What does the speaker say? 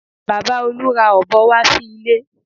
Bàbá Olú ra ọ̀bọ wá sí ilé